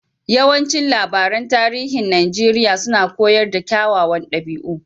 Yawancin labaran tarihin Najeriya suna koyar da kyawawan dabi'u.